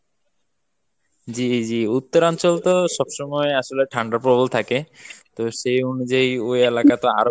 জি জি উত্তরাঞ্চলতো সবসময় আসলে ঠান্ডা প্রবল থাকে তো সেই অনুযায়ী ওই এলাকা তো আরও